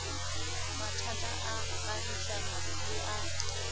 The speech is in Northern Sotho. mathata a kagišano le a